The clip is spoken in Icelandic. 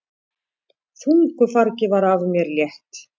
Þungu fargi var af mér létt!